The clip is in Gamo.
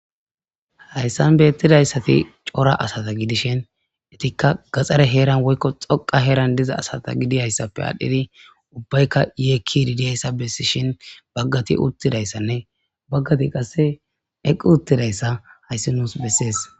Hayssan beyettidayssati cora asata gidishin etikka gaxare heeran woykko xoqa heeran diza asata gidiyayssappe adhdhidi ubbaykka yeekkididiyayssa bessi shin baggati uttidayssanne baggati qasse eqqu uttidayssa hayssi nuus bessees.